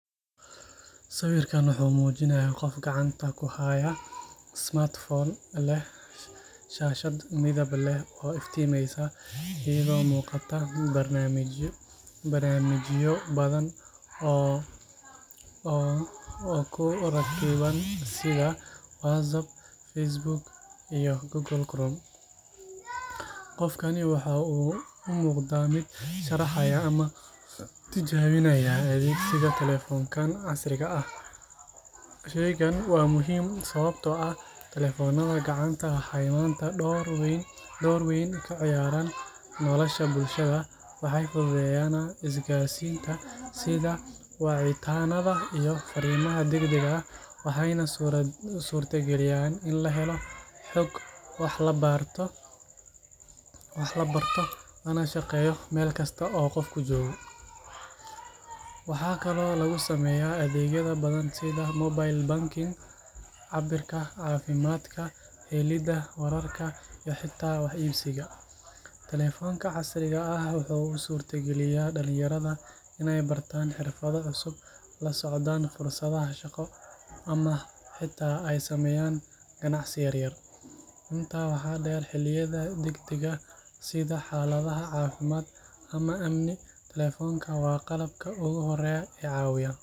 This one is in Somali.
Sawirkan wuxuu muujinayaa qof gacanta ku haya taleefan casri ah oo leh shaashad weyn oo iftiimaysa. Shaashada waxaa ka muuqda barnaamijyo badan oo caan ah sida WhatsApp, Facebook, iyo Google Chrome. Qofka sawirka ku jira wuxuu u muuqdaa mid sharaxaya ama tijaabinaya taleefankan. Taleefanka gacanta waa aalad muhiim ah maadaama uu door weyn ka ciyaaro nolosha bulshada casriga ah. Waxay si weyn u fududeeyaan isgaarsiinta, sida wicitaannada iyo farriimaha degdega ah. Taleefannada casriga ah sidoo kale waxay bixiyaan fursado badan oo nololeed oo ay ka mid yihiin helidda macluumaad iyo baaritaan online ah meel kasta oo qofku joogo. Waxay sidoo kale bixiyaan adeegyo kala duwan sida mobile banking, cabbiraadda caafimaadka, helidda wararka, iyo xitaa ganacsiga kala iibsiga. Taleefannada casriga ah waxay dhalinyarada u suura galiyaan fursado waxbarasho iyo barashada xirfado cusub. Waxa kale oo ay abuurayaan ganacsiyo yaryar oo qofku ku bilaabi karo si fudud. Intaa waxaa dheer, xaaladaha degdega ah ama kuwa amniga, taleefanka gacanta waa qalabka ugu horreeya ee lagu raadsado caawimaad.